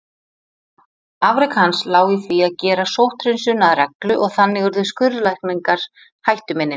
Afrek hans lá í því að gera sótthreinsun að reglu og þannig urðu skurðlækningar hættuminni.